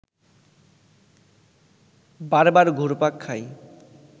বারবার ঘুরপাক খায়